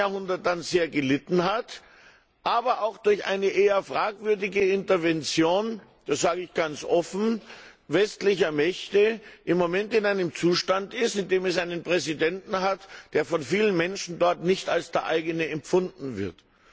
20. Jahrhundert sehr gelitten hat und durch eine eher fragwürdige Intervention das sage ich ganz offen westlicher Mächte im Moment in einem Zustand ist, in dem es einen Präsidenten hat, der von vielen Menschen dort nicht als der eigene empfunden wird.